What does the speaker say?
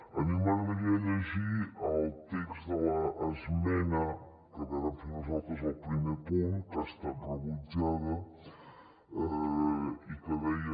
a mi m’agradaria llegir el text de l’esmena que vàrem fer nosaltres al primer punt que ha estat rebutjada i que deia